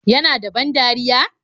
Yana da ban dariya?